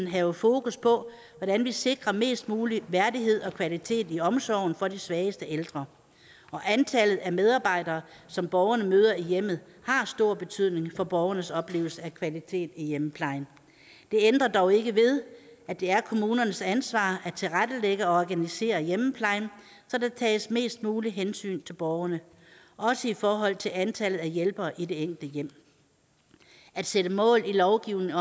have fokus på hvordan vi sikrer mest mulig værdighed og kvalitet i omsorgen for de svageste ældre og antallet af medarbejdere som borgerne møder i hjemmet har stor betydning for borgernes oplevelse af kvalitet i hjemmeplejen det ændrer dog ikke ved at det er kommunernes ansvar at tilrettelægge og organisere hjemmeplejen så der tages mest muligt hensyn til borgerne også i forhold til antallet af hjælpere i det enkelte hjem at sætte mål i lovgivningen